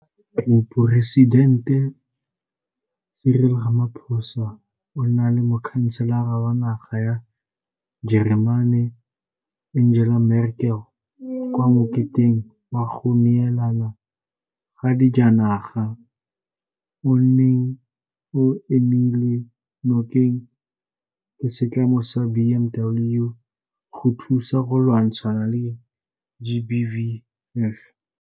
Moporesitente Cyril Ramaphosa o na le Mokhanselara wa naga ya Jeremane Angela Merkel kwa moketeng wa go neelana ka dijanaga o o neng o emilwe nokeng ke setlamo sa BMW go thusa go lwantshana le GBVF.